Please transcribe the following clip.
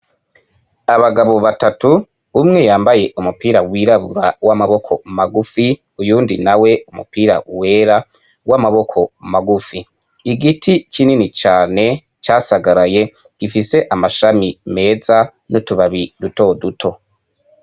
Abagabo batatu umwe yambaye umupira w'irabura w'amaboko magufi uyundi na we umupira wera w'amaboko magufi igiti kinini cane casagaraye gifise amashami meza n'utubabi duto duto.